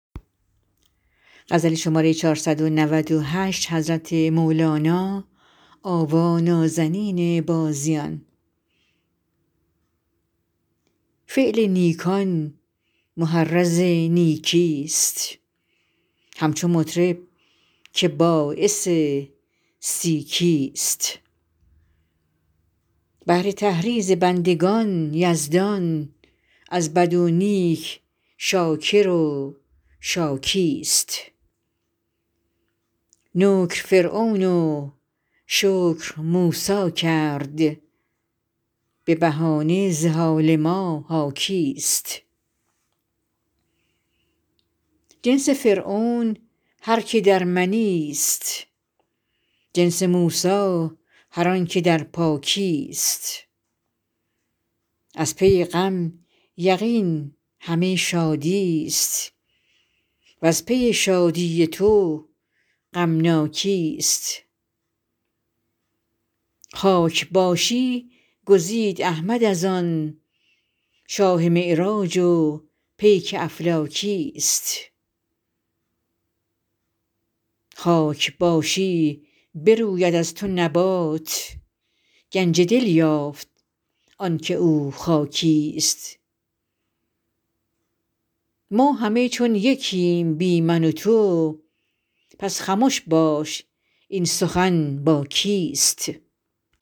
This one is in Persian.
فعل نیکان محرض نیکیست همچو مطرب که باعث سیکیست بهر تحریض بندگان یزدان از بد و نیک شاکر و شاکیست نکر فرعون و شکر موسی کرد به بهانه ز حال ما حاکیست جنس فرعون هر کی در منیست جنس موسی هر آنک در پاکیست از پی غم یقین همه شادیست و از پی شادی تو غمناکیست خاک باشی گزید احمد از آن شاه معراج و پیک افلاکیست خاک باشی بروید از تو نبات گنج دل یافت آنک او خاکیست ما همه چون یکیم بی من و تو پس خمش باش این سخن با کیست